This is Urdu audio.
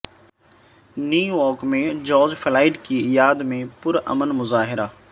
نیویارک میں جارج فلائیڈ کی یاد میں پرامن مظاہرہ